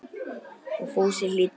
Og Fúsi hlýddi.